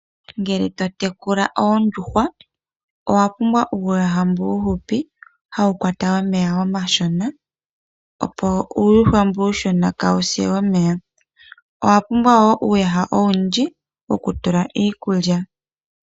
Ngele totekula oondjuhwa owapumbwa uuyaha mbu uuhupi hawu kwata omeya omashona, opo uuyuhwa mbu uushona kaawuse omeya. Owa pumbwa woo uuyaha owundji wokutula iikulya.